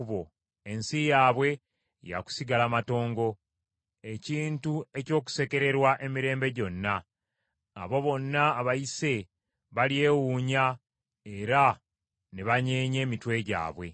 Ensi yaabwe ya kusigala matongo, ekintu eky’okusekererwa emirembe gyonna, abo bonna abayise balyewuunya era ne banyeenya emitwe gyabwe.